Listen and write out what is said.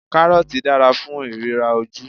Kárọ́ọ̀tì dára fún ìríran ojú.